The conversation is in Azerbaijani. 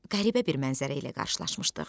Qəribə bir mənzərə ilə qarşılaşmışdıq.